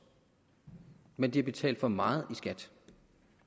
men at der er betalt for meget i skat